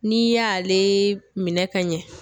N'i y'ale minɛ ka ɲɛ.